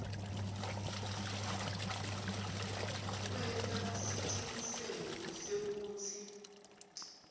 kwenta siciniseko sekutsi